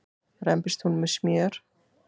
rembist hún með smjör.